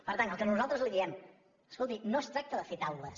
per tant el que nosaltres li diem escolti no es tracta de fer taules